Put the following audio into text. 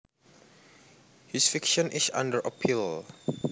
His conviction is under appeal